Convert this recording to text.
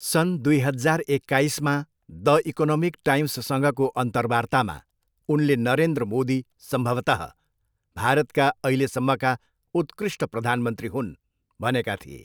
सन् दुई हजार एक्काइसमा द इकोनोमिक टाइम्ससँगको अन्तर्वार्तामा उनले नरेन्द्र मोदी सम्भवतः भारतका अहिलेसम्मका उत्कृष्ट प्रधानमन्त्री हुन् भनेका थिए।